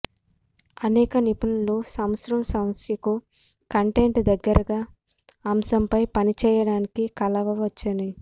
అనేక నిపుణులు సంవత్సరం సమస్యకు కంటెంట్ దగ్గరగా అంశం పై పనిచేయడానికి కలవవచ్చని